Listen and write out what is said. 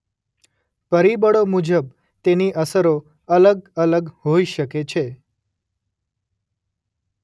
પરિબળો મુજબ તેની અસરો અલગ અલગ હોઈ શકે છે.